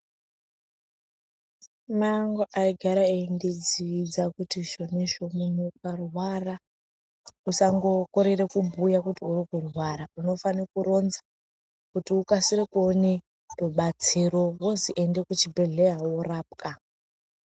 Mai angu aigara eindidzidzisa kuti zvonizvo munhu ukarwara usambokorera kubhuya kuti urikurwara. Unofana kuronza kuti ukasire kuona rubatsiro wozi ende kuchibhehleya worapwa.